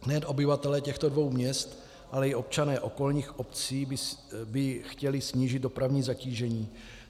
Nejen obyvatelé těchto dvou měst, ale i občané okolních obcí by chtěli snížit dopravní zatížení.